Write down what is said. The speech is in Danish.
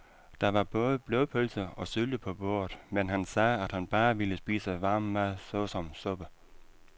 Der var både blodpølse og sylte på bordet, men han sagde, at han bare ville spise varm mad såsom suppe.